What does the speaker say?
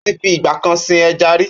Ó ti fi ìgbà kan sin ẹja rí.